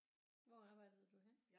Hvor arbejdede du henne